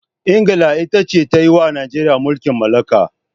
England ita ce ta yi wa Najeriya mulkin mallaka.